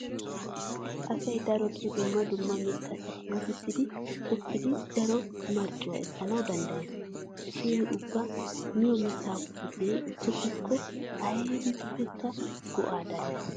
Asay darotoo dumma dumma mittata puutissidi tokkidi daro marccuwa ekkanawu danddayees. Shin ubba miyo mittaa puutiya tokkiyakko aybippekka go'aa darees.